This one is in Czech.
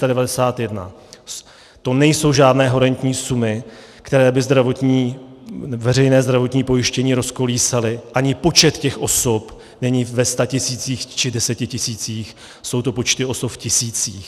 To nejsou žádné horentní sumy, které by veřejné zdravotní pojištění rozkolísaly, ani počet těch osob není ve statisících či desetitisících, jsou to počty osob v tisících.